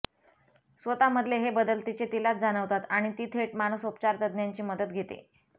स्वतःमधले हे बदल तिचे तिलाच जाणवतात आणि ती थेट मानसोपचार तज्ज्ञाची मदत घेते